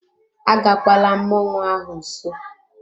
Agakwala mmọnwụ ahụ nso!